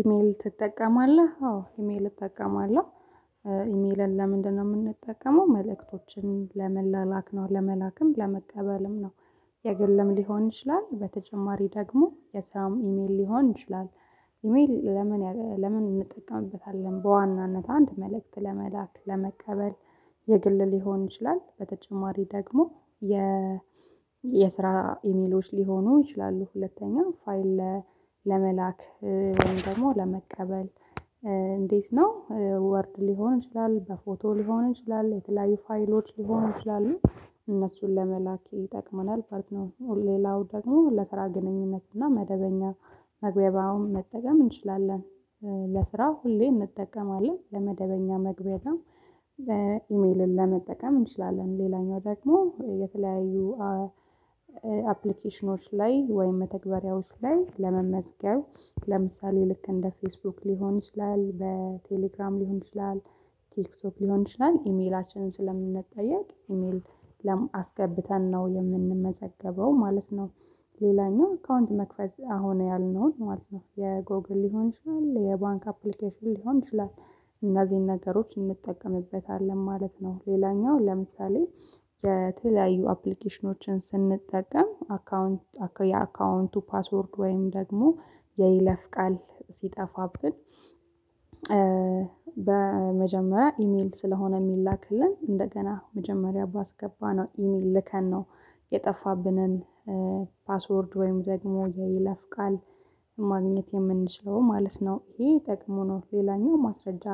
ኢሜል ትጠቀማለህ? አዎ ኢሜል እጠቀማለሁ? ኢሜልን ለምንድነው የምንጠቀመው? መልእክቶችን ለመላክ ነው። ለመላክም ለመቀበልም ነው። የግልም ሊሆን ይችላል። በተጨማሪ ደግሞ የስራም ኢሜል ሊሆን ይችላል። ኢሜል ለምን ለምን እንጠቀምበታለን? በዋናነት አንድ መልእክት ለመላክ፣ ለመቀበል የግል ሊሆን ይችላል። በተጨማሪ ደግሞ የ የስራ ኢሜሎች ሊሆኑ ይችላሉ። ሁለተኛ ፋይል ለመላክ ወይም ደግሞ ለመቀበል እንዴት ነው ወርድ ሊሆን ይችላል፣ በፎቶ ሊሆን ይችላል፣ የተለያዩ ፋይሎች ሊሆኑ ይችላሉ እነሱን ለመላክ ይጠቅመናል ማለት ነው። ሌላው ደግሞ ለስራ ግንኙነት እና መደበኛ መጠቀም እንችላለን። ለስራ ሁሌ እንጠቀማለ። ን ለመደበኛ መግቢያው ደግሞ ኢሜልን ለመጠቀም እንችላለን። ሌላኛው ደግሞ የተለያዩ አፕሊኬሽኖች ላይ ወይም መተግበሪያዎች ላይ ለመመዝገብ ለምሳሌ ልክ እንደ ፌስቡክ ሊሆን ይችላል፣ በቴሌግራም ሊሆን ይችላል። ቲክቶክ ሊሆን ይችላል ኢሜላችንን ስለምንጠየቅ ኢሜል አስገብተን ነው የምንመዘገበው ማለት ነው። ሌላኛው አካውንት መክፈት አሁን ያልነውን ማለት ነው። የጎግል ሊሆን ይችላል፣ የባንክ አፕሊኬሽን ሊሆን ይችላል። እነዚህን ነገሮች እንጠቀምበታለን ማለት ነው። ሌላኛው ለምሳሌ የተለያዩ አፕሊኬሽኖችን ስንጠቀም የአካውንቱ የአካውንቱ ፓስወርድ ወይም ደግሞ የይለፍ ቃል ሲጠፋብን በመጀመሪያ ኢሜል ስለሆነ የሚላክልን እንደገና መጀመሪያ ባስገባነው ኢሜል ልከን ነው የጠፋብንን ፓስወርድ ወይም ደግሞ የይለፍ ቃል ማግኘት የምንችለው ማለት ነው። ይሄ ጥቅሙ ነው። ሌላኛው ማስረጃ